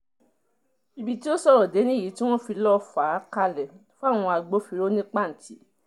ibi tó sọ̀rọ̀ dé nìyí tí wọ́n fi lọ́ọ fà á kalẹ̀ fáwọn agbófinró ní pàǹtì